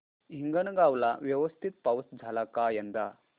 हिंगणगाव ला व्यवस्थित पाऊस झाला का यंदा